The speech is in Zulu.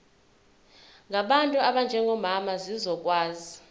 ngabantu abanjengomama zizokwazi